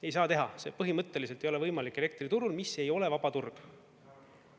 Ei saa teha, see põhimõtteliselt ei ole võimalik elektriturul, mis ei ole vaba turg.